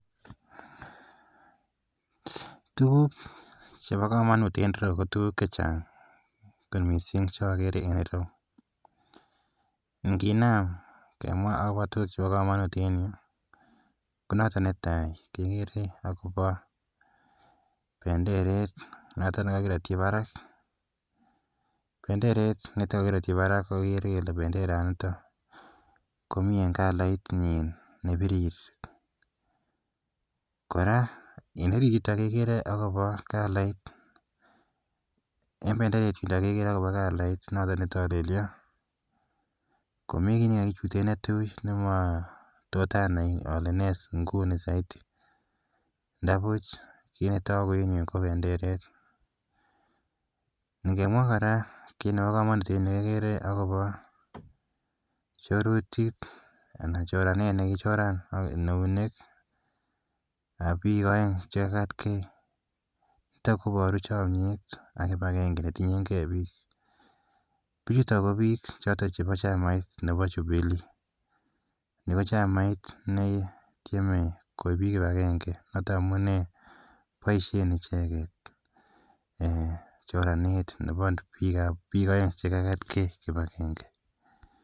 Tuguk chepa kamanut en ere yu ko tuguk che chang' kot missing' che akere en ere yu. Nginam kemwa akopa tuguk chepa kamanut en yu ko notok ne tai kekere akopa penderet notok ne kakiratchi parak. Penderet nitok kakiratchi parak kekere kele penderaniton ko mi eng' kalaitnyin ne pirir. Kora en ere yutok kekere akopa kalait notok ne talelia, ko mi ki ne kakichute ne tui ne mami tot anai ale ne inguni saidi ndapuch kit ne tagu en yu ko penderet. Ngemwa kora kiit nepo kamanut en yu kekere kora akopa chorutiet anan choranet ne kikichoran en eunek ap pik aeng' che kekatgei koparu chamyet ak kip agenge netinyen hei pik. Pichutok ko pik chotok chepo chamait nepo Jubilee. Ni ko chamait ne tieme koip pik kip agenge, notok amunee poishen icheget choranet nepo pik aeng' che kakatgei kip agenge.